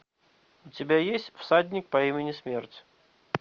у тебя есть всадник по имени смерть